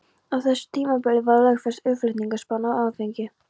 Á þessu tímabili var lögfest aðflutningsbann á áfengi.